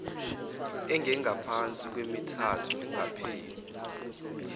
engengaphansi kwemithathu lingakapheli